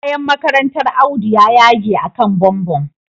Kayan makarantar Audu ya yage akan bumbum